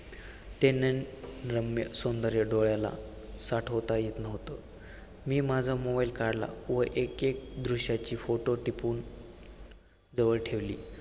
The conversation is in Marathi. ते नैसर्गिक रम्य सौंदर्य डोळ्याला साठवता येतं नव्हतं. मी माझा mobile काढला व एक एक दृष्याची photo टिपून जवळ ठेवली.